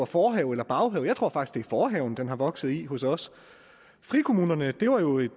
forhaven eller baghaven jeg tror faktisk forhaven den er vokset op i hos os frikommunerne var jo et